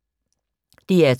DR2